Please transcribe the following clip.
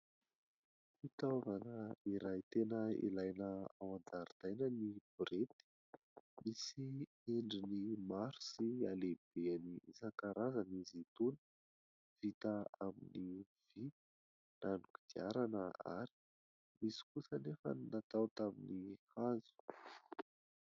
Fitaovana iray tena ilaina ao an-jaridaina ny borety ; misy endriny maro sy halehibeny isankarazany izy itony ; vita amin'ny vy na ny kodiarana ary ; misy kosa anefa ny natao tamin'ny hazo.